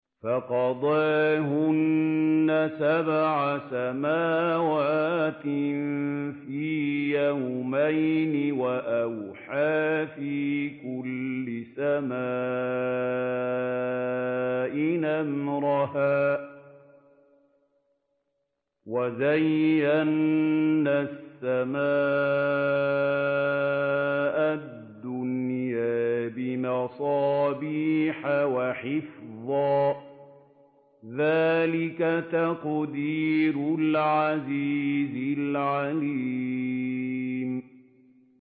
فَقَضَاهُنَّ سَبْعَ سَمَاوَاتٍ فِي يَوْمَيْنِ وَأَوْحَىٰ فِي كُلِّ سَمَاءٍ أَمْرَهَا ۚ وَزَيَّنَّا السَّمَاءَ الدُّنْيَا بِمَصَابِيحَ وَحِفْظًا ۚ ذَٰلِكَ تَقْدِيرُ الْعَزِيزِ الْعَلِيمِ